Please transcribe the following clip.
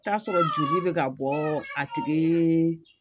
Taa sɔrɔ joli be ka bɔ a tigi